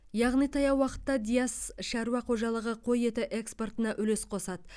яғни таяу уақытта диас шаруа қожалығы қой еті экспортына үлес қосады